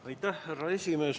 Aitäh, härra esimees!